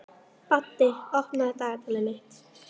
Baddi, opnaðu dagatalið mitt.